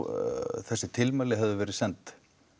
þessi tilmæli höfðu verið send